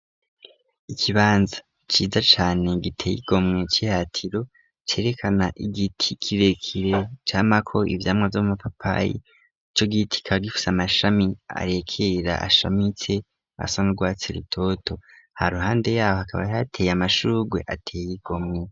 Ikibanza ciza cane giteye igomwe ciratiro cerekana igiti kirekire camako ivyamwa vy'amapapayi; ico giti kikaba gifise amashami arekerera ashamitse asana n'urwatsi rutoto ha ruhande yaho hakaba hateye amashugwe ateye igomwe.